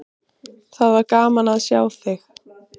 Það var gaman að sjá þig.